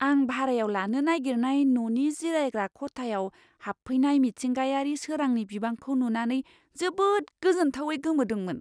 आं भारायाव लानो नागिरनाय न'नि जिरायग्रा खथायाव हाबफैनाय मिथिंगायारि सोरांनि बिबांखौ नुनानै जोबोद गोजोनथावै गोमोदोंमोन!